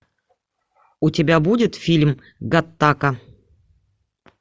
у тебя будет фильм гаттака